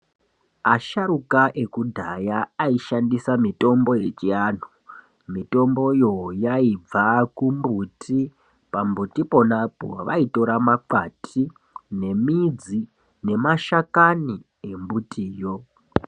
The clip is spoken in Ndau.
Asharuka ekudhaya aishandisa mitombo yechiantu mitomboyi yaibva kumbiti pambuti ponapo vaitora makwati nemidzi nemashakani embuti yo.